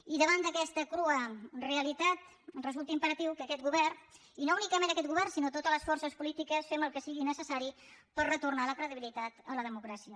i davant d’aquesta crua realitat resulta imperatiu que aquest govern i no únicament aquest govern sinó totes les forces polítiques faci el que sigui necessari per retornar la credibilitat a la democràcia